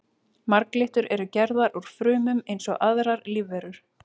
Marglyttur eru gerðar úr frumum eins og aðrar lífverur.